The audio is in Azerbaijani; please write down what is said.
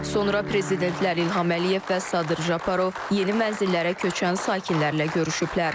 Sonra prezidentlər İlham Əliyev və Sadır Japarov yeni mənzillərə köçən sakinlərlə görüşüblər.